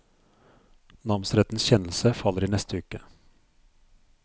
Namsrettens kjennelse faller i neste uke.